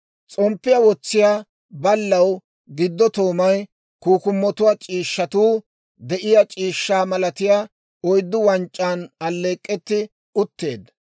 s'omppiyaa wotsiyaa ballaw giddo toomay, kukkumotuwaa c'iishshatuu de'iyaa c'iishshaa malatiyaa oyddu wanc'c'aan alleek'k'etti utteedda.